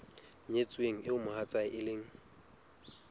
nyetsweng eo mohatsae e leng